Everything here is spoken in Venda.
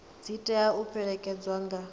dzi tea u fhelekedzwa nga